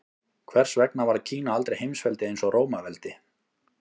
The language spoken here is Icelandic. Hvers vegna varð Kína aldrei heimsveldi eins og Rómaveldi?